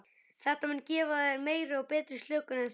Þetta mun gefa þér meiri og betri slökun en svefn.